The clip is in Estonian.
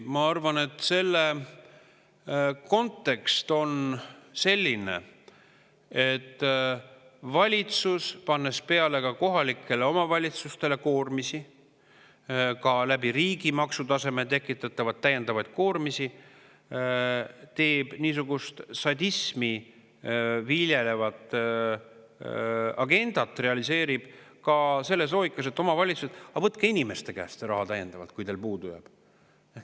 Ma arvan, et kontekst on selline, et valitsus, pannes ka kohalikele omavalitsustele koormisi peale, samuti riigi maksutaseme kaudu tekitatavaid täiendavaid koormisi, realiseerib niisugust sadismi viljelevat agendat selles loogikas, et: "Omavalitsused, võtke inimeste käest raha juurde, kui teil puudu jääb.